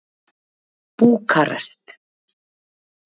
Búkarest